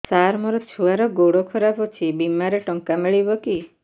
ସାର ମୋର ଛୁଆର ଗୋଡ ଖରାପ ଅଛି ବିମାରେ ଟଙ୍କା ମିଳିବ କି